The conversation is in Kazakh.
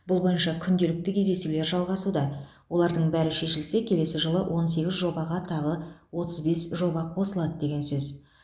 бұл бойынша күнделікті кездесулер жалғасуда олардың бәрі шешілсе келесі жылы он сегіз жобаға тағы отыз бес жоба қосылады деген сөз